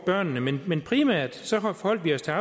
børnene men men primært forholdt vi os til